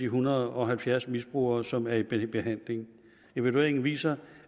hundrede og halvfjerds misbrugere som er i behandling evalueringen viser